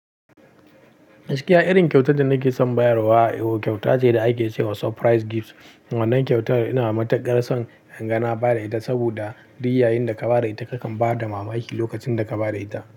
Gaskiya, irin kyauta da nake son bayarwa, kyauta ce da ake ce wa surprise gift. Wannan kyauta yana matukar son inga na ba da ita, saboda duk'yayin da ka ba da ita kakan ba da mamaki lokacin da ka ba da ita.